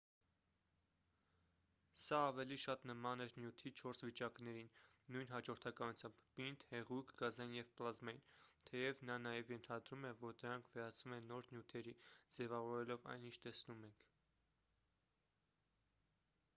սա ավելի շատ նման էր նյութի չորս վիճակներին նույն հաջորդականությամբ` պինդ հեղուկ գազային և պլազմային թեև նա նաև ենթադրում է որ դրանք վերածվում են նոր նյութերի` ձևավորելով այն ինչ տեսնում ենք: